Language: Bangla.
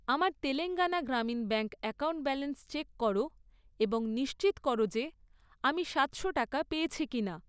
আমার Telangana Grameen bank account balance check কর এবং নিশ্চিত কর যে আমি সাতশো টাকা পেয়েছি কিনা।